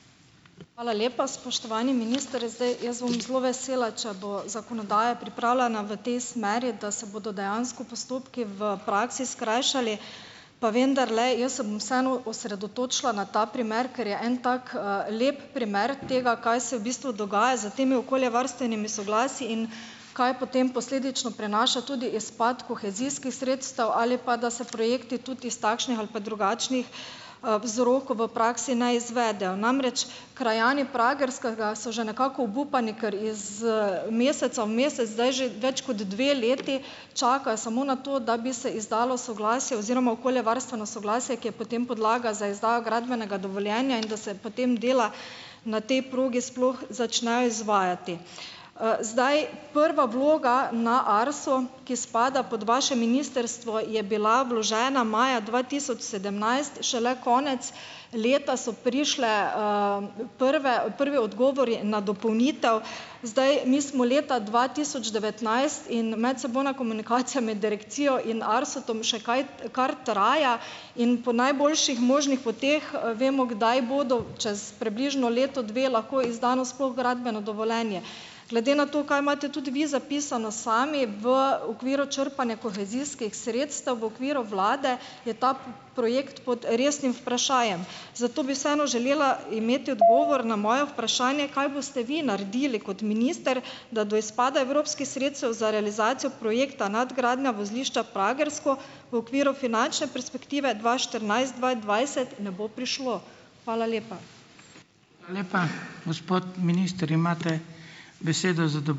Hvala lepa, spoštovani minister. Zdaj jaz bom zelo vesela, če bo zakonodaja pripravljena v tej smeri, da se bodo dejansko postopki v praksi skrajšali. Pa vendarle, jaz se bom vseeno osredotočila na ta primer, ker je en tak, lep primer tega, kaj se v bistvu dogaja s temi okoljevarstvenimi soglasji in kaj potem posledično prinaša tudi izpad kohezijskih sredstev ali pa, da se projekti tudi iz takšnih ali pa drugačnih vzrokov v praksi ne izvedejo. Namreč, krajani Pragerskega so že nekako obupani, ker iz, meseca v mesec zdaj že več kot dve leti čakajo samo na to, da bi se izdalo soglasje oziroma okoljevarstveno soglasje, ki je potem podlaga za izdajo gradbenega dovoljenja, in da se potem dela na tej progi sploh začnejo izvajati. Zdaj prva vloga na Arso, ki spada pod vaše ministrstvo, je bila vložena maja dva tisoč sedemnajst, šele konec leta so prišli, prve prvi odgovori na dopolnitev. Zdaj mi smo leta dva tisoč devetnajst in medsebojna komunikacija med direkcijo in ARSO-m še kaj kar traja. In po najboljših možnih poteh vemo, kdaj bodo, čez približno leto, dve lahko izdano sploh gradbeno dovoljenje. Glede na to, kaj imate tudi vi zapisano sami v okviru črpanja kohezijskih sredstev v okviru vlade, je ta projekt pod resnim vprašajem. Zato bi vseeno želela imeti odgovor na moje vprašanje, kaj boste vi naredili kot minister, da do izpada evropskih sredstev za realizacijo projekta nadgradnja vozlišča Pragersko v okviru finančne perspektive dva štirinajst-dva dvajset ne bo prišlo. Hvala lepa.